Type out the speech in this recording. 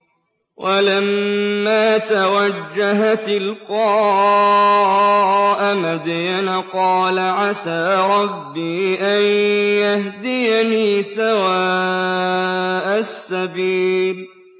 وَلَمَّا تَوَجَّهَ تِلْقَاءَ مَدْيَنَ قَالَ عَسَىٰ رَبِّي أَن يَهْدِيَنِي سَوَاءَ السَّبِيلِ